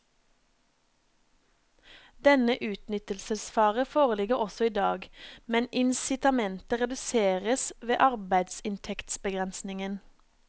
Denne utnyttelsesfare foreligger også i dag, men incitamentet reduseres ved arbeidsinntektsbegrensningen.